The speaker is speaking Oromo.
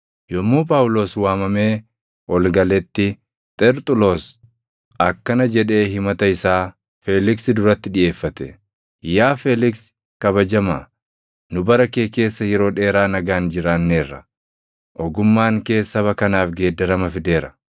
Yommuu Phaawulos waamamee ol galetti, Xerxuloos akkana jedhee himata isaa Feeliksi duratti dhiʼeeffate; “Yaa Feeliksi kabajamaa, nu bara kee keessa yeroo dheeraa nagaan jiraanneera; ogummaan kees saba kanaaf geeddarama fideera.